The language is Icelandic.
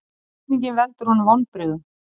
Spurningin veldur honum vonbrigðum.